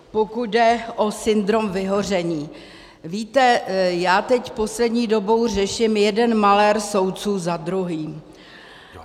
Pokud jde o syndrom vyhoření, víte, já teď poslední dobou řeším jeden malér soudců za druhým.